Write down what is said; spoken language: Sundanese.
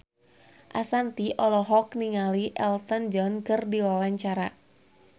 Ashanti olohok ningali Elton John keur diwawancara